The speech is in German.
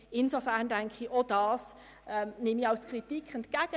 Insofern nehme ich das als Kritik entgegen.